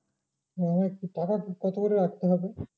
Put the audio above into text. হ্যাঁ টাকা জিজ্ঞাসা করে রাখতে হবে।